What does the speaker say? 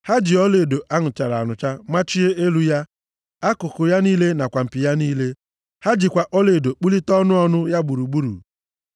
Ha ji ọlaedo a nụchara anụcha machie elu ya; akụkụ ya niile nakwa mpi ya niile. Ha jikwa ọlaedo kpụlite ọnụ ọnụ ya gburugburu.